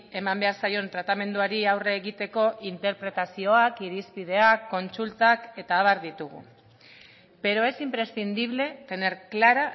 eman behar zaion tratamenduari aurre egiteko interpretazioak irizpideak kontsultak eta abar ditugu pero es imprescindible tener clara